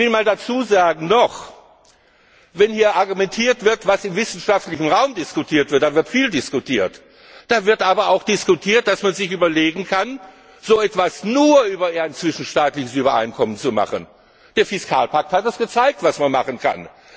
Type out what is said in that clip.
Ich will noch einmal dazu sagen, wenn hier argumentiert wird, was im wissenschaftlichen Raum diskutiert wird, da wird viel diskutiert, da wird aber auch diskutiert, dass man sich überlegen kann, so etwas nur über ein zwischenstaatliches Übereinkommen zu machen. Der Fiskalpakt hat gezeigt, was man machen kann.